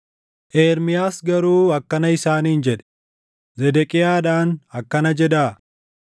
Ermiyaas garuu akkana isaaniin jedhe; “Zedeqiyaadhaan akkana jedhaa;